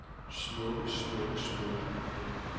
smukke smukke smukke